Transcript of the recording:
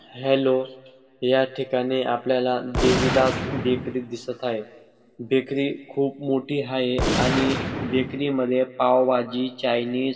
hello या ठिकाणी आपल्याला देविदास बेकरी दिसत आहे बेकरी खूप मोठी हाये आणि बेकरी मध्ये पावभाजी चायनीज --